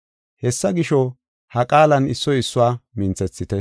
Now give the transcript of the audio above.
Hessa gisho, ha qaalan issoy issuwa minthethite.